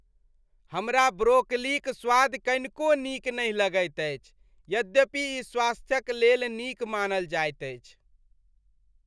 हमरा ब्रोकलीक स्वाद कनिको नीक नहि लगैत अछि यद्यपि ई स्वास्थ्यक लेल नीक मानल जाइत अछि।